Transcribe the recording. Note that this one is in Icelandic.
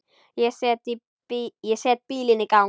Ég set bílinn í gang.